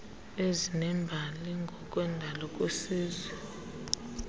ezinembali ngokwendalo kwisizwe